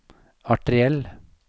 arteriell